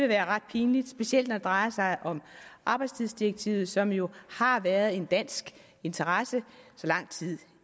være ret pinligt specielt når det drejer sig om arbejdstidsdirektivet som jo har været en dansk interesse så lang tid